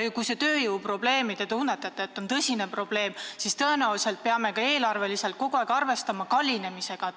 Ja kui te tunnetate, et tööjõu puudus on tõsine probleem, siis tõenäoliselt peame eelarves kogu aeg arvestama tööde kallinemisega.